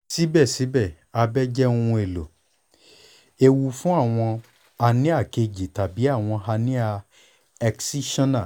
sibẹsibẹ abẹ jẹ ohun elo eewu fun awọn hernia keji tabi awọn hernia excisional